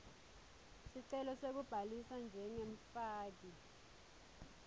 sicelo sekubhalisa njengemfaki